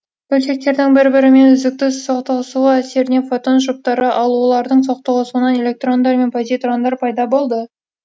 бөлшектердің бір бірімен үздікті соқтығысуы әсерінен фотон жұптары ал олардың соқтығысуынан электрондар мен позитрондар пайда болды